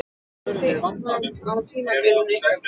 Hvert er þitt mat á tímabilinu ykkar?